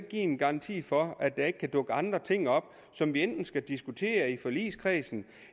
give en garanti for at der ikke kan dukke andre ting op som vi enten skal diskutere i forligskredsen